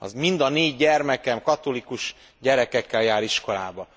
Mind a négy gyermekem katolikus gyerekekkel jár iskolába.